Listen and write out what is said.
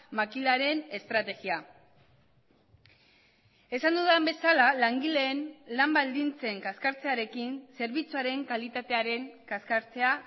makilaren estrategia esan dudan bezala langileen lan baldintzen kaskartzearekin zerbitzuaren kalitatearen kaskartzea